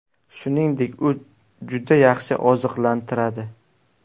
Shuningdek, u juda yaxshi oziqlantiradi.